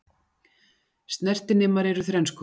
Snertinemar eru þrenns konar.